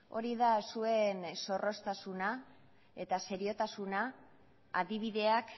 hori da zuen zorroztasuna eta seriotasuna adibideak